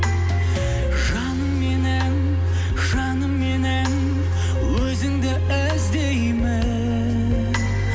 жаным менің жаным менің өзіңді іздеймін